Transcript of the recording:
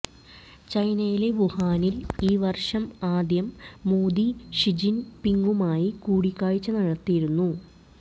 ചൈനയിലെ വുഹാനിൽ ഈ വർഷം ആദ്യം മോദി ഷി ജിൻ പിങുമായി കൂടിക്കാഴ്ച നടത്തിയിരുന്നു